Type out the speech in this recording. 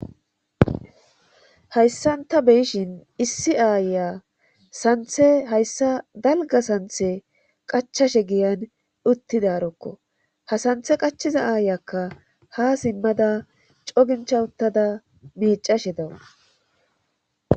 hayssan ta beyishin issi aaya santhe hayssa dalga santhe qachashe giyan uttidarokko ha santhe qachiza aayakka ha simmada cogincha uttada miicashe dawus